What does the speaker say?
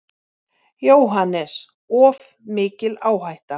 JÓHANNES: Of mikil áhætta.